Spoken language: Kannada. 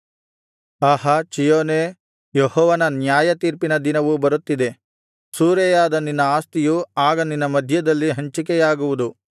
ಆಹಾ ಚೀಯೋನೇ ಯೆಹೋವನು ನ್ಯಾಯತೀರ್ಪಿನ ದಿನವು ಬರುತ್ತಿದೆ ಸೂರೆಯಾದ ನಿನ್ನ ಆಸ್ತಿಯು ಆಗ ನಿನ್ನ ಮಧ್ಯದಲ್ಲಿ ಹಂಚಿಕೆಯಾಗುವುದು